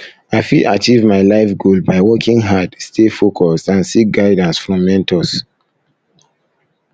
i um fit achieve my life goal um by working hard stay focused and seek guidance um from mentors